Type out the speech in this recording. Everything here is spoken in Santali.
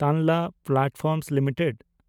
Tanla platforms limited